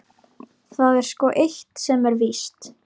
Það er sko eitt sem er víst.